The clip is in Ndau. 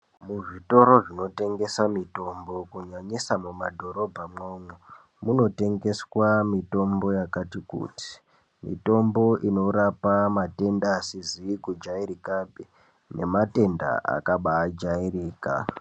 Muzvitoro zvinotengesa mitombo kunyanyisa mumadhorobha mwoumwo munotengeswa mitombo yakati kuti mitombo inorapa matenda asizi kujairikapi nematenda akabajairika.